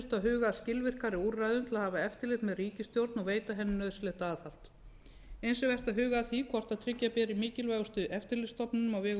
huga að skilvirkari úrræðum til að hafa eftirlit með ríkisstjórn og veita henni nauðsynlegt aðhald eins er vert að huga að því hvort tryggja beri mikilvægustu eftirlitsstofnun á vegum